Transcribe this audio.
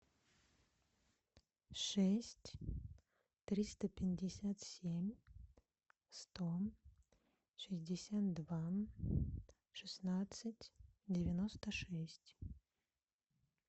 шесть триста пятьдесят семь сто шестьдесят два шестнадцать девяносто шесть